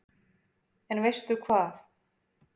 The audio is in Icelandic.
En veistu hvað